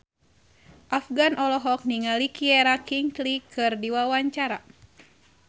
Afgan olohok ningali Keira Knightley keur diwawancara